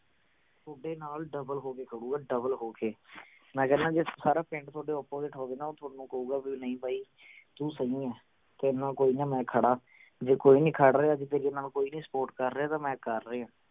ਥੋਡੇ ਨਾਲ double ਹੋਕੇ ਖੜੂਗਾ double ਹੋ ਕੇ ਮੈਂ ਕਹਿਣਾ ਜੇ ਸਾਰਾ ਪਿੰਡ ਥੋਡੇ opposite ਹੋਵੇ ਨਾ ਉਹ ਥੋਨੂੰ ਕਹੂਗਾ ਵੀ ਨਹੀਂ ਬਾਈ ਤੂੰ ਸਹੀ ਹੈਂ ਤੇਰੇ ਨਾਲ ਕੋਈ ਨਾ ਮੈਂ ਖੜਾਂ। ਜੇ ਕੋਈ ਨਹੀਂ ਖੜ ਰਿਹਾ ਜੇ ਤੇਰੇ ਨਾਲ ਕੋਈ ਨਹੀਂ support ਕਰ ਰਿਹਾ ਤਾ ਮੈਂ ਕਰ ਰਿਹੇ ਹਾਂ।